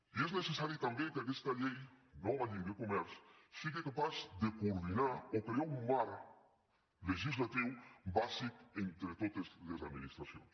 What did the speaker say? i és necessari també que aquesta llei nova llei de comerç sigui capaç de coordinar o crear un marc legislatiu bàsic entre totes les administracions